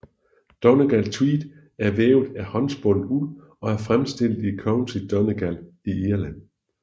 Donegal tweed er vævet af håndspundet uld og er fremstillet i County Donegal i Irland